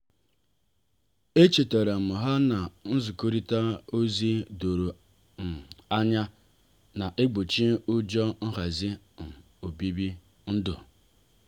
echetaram ha na-nzikorita ozi doro um anya na-egbochi ụjọ nhazi um obibi ndu. um